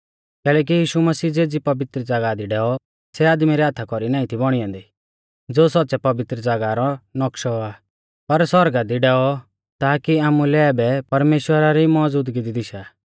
कैलैकि यीशु मसीह ज़ेज़ी पवित्र ज़ागाह दी डैऔ सै आदमी रै हाथा कौरी नाईं थी बौणी ऐन्दी ज़ो सौच़्च़ै पवित्र ज़ागाह रौ नौक्शौ आ पर सौरगा दी डैऔ ताकि आमुलै आबै परमेश्‍वरा री मौज़ुदगी दी दिशा